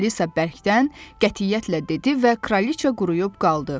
Alisa bərkdən qətiyyətlə dedi və kraliça quruyub qaldı.